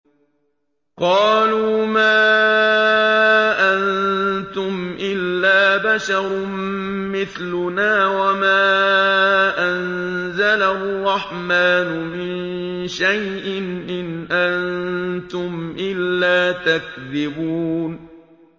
قَالُوا مَا أَنتُمْ إِلَّا بَشَرٌ مِّثْلُنَا وَمَا أَنزَلَ الرَّحْمَٰنُ مِن شَيْءٍ إِنْ أَنتُمْ إِلَّا تَكْذِبُونَ